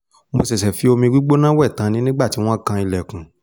mo ṣẹ̀ṣẹ̀ fi omi gbígbóná wẹ̀ tán ni nígbà tí wọ́n kan ilẹ̀kùn